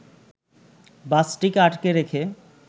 বাসটিকে আটকে রেখে